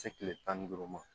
Se kile tan ni duuru ma